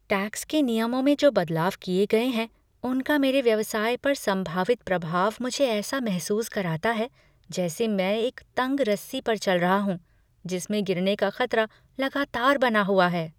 Tax के नियमों में जो बदलाव किए गए हैं उनका मेरे व्यवसाय पर संभावित प्रभाव मुझे ऐसा महसूस कराता है जैसे मैं एक तंग रस्सी पर चल रहा हूं जिसमें गिरने का खतरा लगातार बना हुआ है।